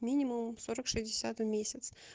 минимум сорок шестьдесят в месяц